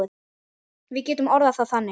Við getum orðað það þannig.